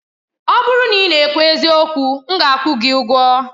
Ọ bụrụ na ị na-ekwu eziokwu, m ga-akwụ gị ụgwọ.